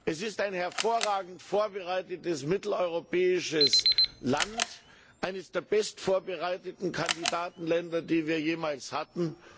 Es ist ein hervorragend vorbereitetes mitteleuropäisches Land, eines der bestvorbereiteten Kandidatenländer, die wir jemals hatten.